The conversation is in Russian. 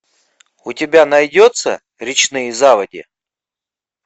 у тебя найдется речные заводи